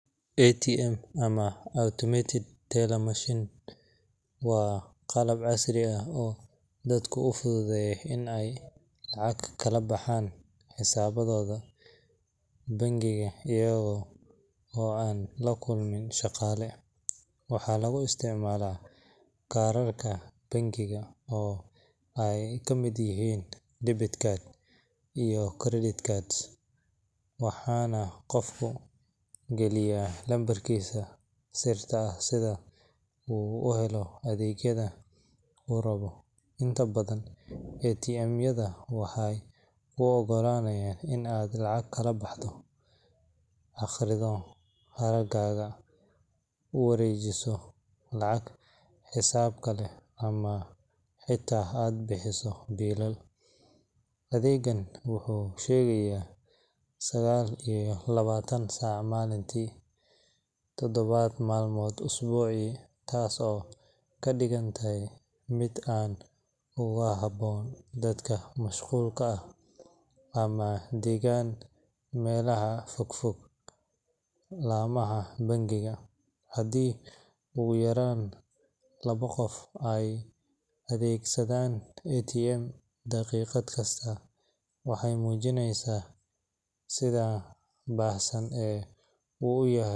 ATM ama Automated Teller Machine waa qalab casri ah oo dadka u fududeeya in ay lacag kala baxaan xisaabtooda bangiga iyaga oo aan la kulmin shaqaale. Waxaa lagu isticmaalaa kaararka bangiga oo ay ka mid yihiin debit cards iyo credit cards, waxaana qofku geliyaa lambarkiisa sirta ah si uu u helo adeegyada uu rabo. Inta badan ATM-yada waxay kuu oggolaanayaan in aad lacag kala baxdo, akhrido hadhaagaaga, u wareejiso lacag xisaab kale, ama xitaa aad bixiso biilal. Adeeggan wuxuu shaqeeyaa sagaal iyo labaatan saac maalintii, toddobo maalmood usbuucii, taas oo ka dhigtay mid aad ugu habboon dadka mashquulka ah ama degan meelaha ka fog laamaha bangiga. Haddii ugu yaraan labo qof ay adeegsanayaan ATM daqiiqad kasta, waxay muujinaysaa sida baahsan ee uu u yahay.